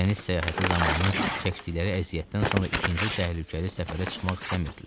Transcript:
Dəniz səyahəti zamanı çəkdikləri əziyyətdən sonra ikinci təhlükəli səfərə çıxmaq istəmirdilər.